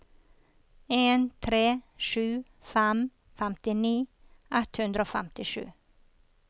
en tre sju fem femtini ett hundre og femtisju